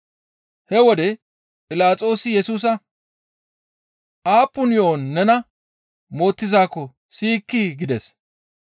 He wode Philaxoosi Yesusa, «Aappun yo7on nena mootizaakko siyikkii?» gides.